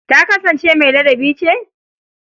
Ta kasansance mai ladabi ce?